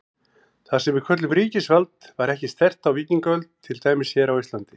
Það sem við köllum ríkisvald var ekki sterkt á víkingaöld, til dæmis hér á Íslandi.